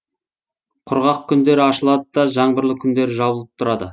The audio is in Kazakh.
құрғақ күндері ашылады да жаңбырлы күндері жабылып тұрады